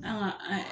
An ka